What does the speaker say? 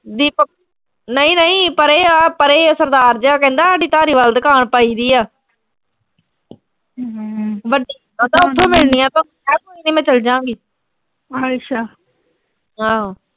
ਦੀਪਕ ਨਈਂ ਨਈਂ ਪਰੇ ਆ ਪਰੇ ਆ ਸਰਦਾਰ ਜਾ ਕਹਿੰਦਾ, ਸਾਡੀ ਧਾਰੀਵਾਲ ਦੁਕਾਨ ਪਾਈ ਬਈ ਆ। ਕਹਿੰਦਾ ਉਥੋਂ ਮਿਲਣੀਆਂ ਸੋਨੂੰ, ਮੈਂ ਕਿਆ ਕੋਈ ਨੀਂ ਮੈਂ ਚਲ ਜਾਂ ਗੀ ਆਹੋ।